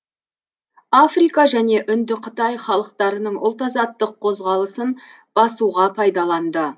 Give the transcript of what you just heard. африка және үндіқытай халықтарының ұлт азаттық қозғалысын басуға пайдаланды